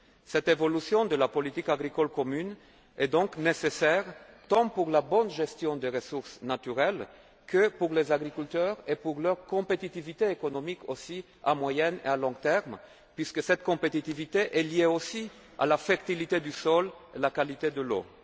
Cette évolution de la politique agricole commune est donc nécessaire, tant pour la bonne gestion des ressources naturelles que pour les agriculteurs et pour leur compétitivité économique, à moyen et à long terme, puisque cette compétitivité est également liée à la fertilité du sol et à la qualité de